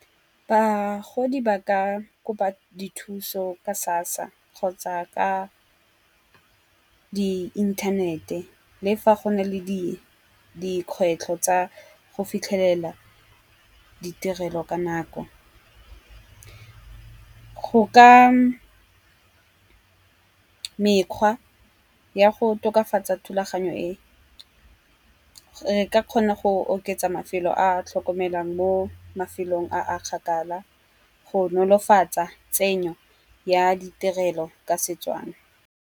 Bagodi ba ka kopa dithuso ka SASSA kgotsa ka di inthanete le fa go na le dikgwetlho tsa go fitlhelela ditirelo ka nako. Go ka mekgwa ya go tokafatsa thulaganyo e re ka kgona go oketsa mafelo a a tlhokomelang mo mafelong a kgakala, go nolofatsa tsenyo ya ditirelo ka setswana.